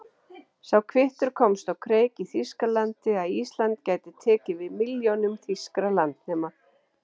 Sá kvittur komst á kreik í Þýskalandi, að Ísland gæti tekið við milljónum þýskra landnema.